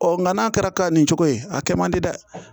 Ɔ nka n'a kɛra ka nin cogo ye a kɛ man di dɛ